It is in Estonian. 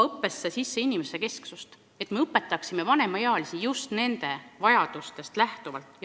Õppesse tuleb tuua rohkem inimesekesksust, et me õpetaksime vanemaealisi just nende vajadustest lähtuvalt.